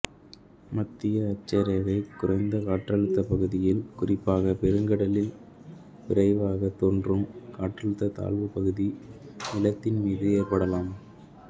மத்தியஅட்சரேகை குறைந்த காற்றழுத்தப் பகுதியில் குறிப்பாக பெருங்கடலில் விரைவாகத் தோன்றும் காற்றழுத்தத் தாழ்வு பகுதி நிலத்தின் மீதும் ஏற்படலாம்